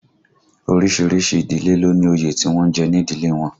Orísìírísìí ìdílé ló ní òye tí wọ́n ń jẹ ní ìdílé wọn